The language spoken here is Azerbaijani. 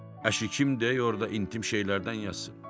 Əşi kim deyir orada intim şeylərdən yazsın?